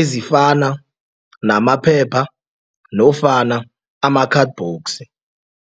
ezifana namaphepha nofana ama-cardbox.